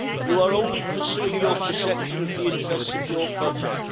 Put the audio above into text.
You are only pursuing your perception of the interests of your project.